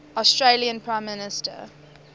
australian prime minister